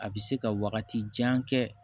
A bɛ se ka wagati jan kɛ